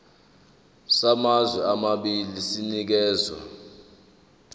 samazwe amabili sinikezwa